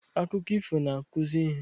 Akụkọ ifo na-akụzi ihe.